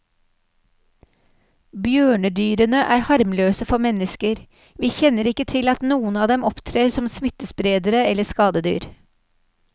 Bjørnedyrene er harmløse for mennesker, vi kjenner ikke til at noen av dem opptrer som smittespredere eller skadedyr.